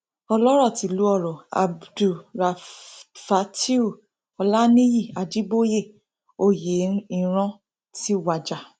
ọlọrọ tílu ọrọ abdulráfátìù olanìyí ajíboyé oyẹlran ti wájà